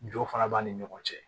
Jɔ fana b'a ni ɲɔgɔn cɛ